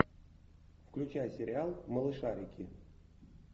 включай сериал малышарики